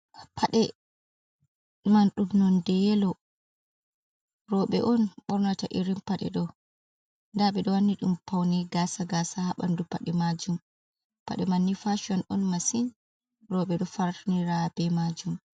Paɗe, man ɗum nondeyelo. Roube on ɓornata irin Pade do daaɓe do wanni dum paune gaasa gaasa habandu Paɗe maajum Paɗe manni faation on masin Roube do fauniraa be maajum.